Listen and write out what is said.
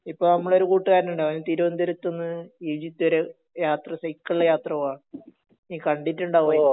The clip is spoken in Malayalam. ഇപ്പൊ ഞമ്മളെ ഒരു കൂട്ടുകാരൻ ഉണ്ട് അവൻ തിരുവനന്തപുരത്തുന്ന് ഈജിപ്ത് വരെ യാത്ര സൈക്കിളിൽ യാത്ര പോവേ ഇയി കണ്ടിട്ടുണ്ടാവുമായിരിക്കും